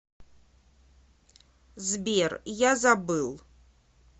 сбер я забыл